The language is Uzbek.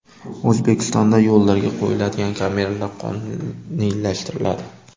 O‘zbekistonda yo‘llarga qo‘yiladigan kameralar qonuniylashtiriladi.